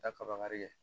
Taa kaba ye